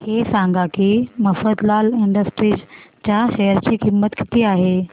हे सांगा की मफतलाल इंडस्ट्रीज च्या शेअर ची किंमत किती आहे